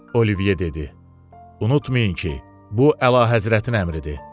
Olivye dedi: Unutmayın ki, bu əlahəzrətin əmridir.